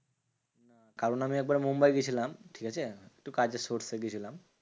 কারণ আমি একবার মুম্বাই গেছিলাম, ঠিকাছে? একটু কাজের source এ গেছিলাম।